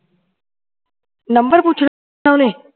number ਪੁੱਛਣਾ ਓਹਨੇ